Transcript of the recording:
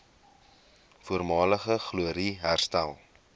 voormalige glorie herstel